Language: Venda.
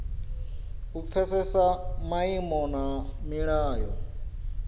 u pfesesa maimo na milayo